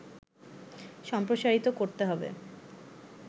সম্প্রসারিত করতে হবে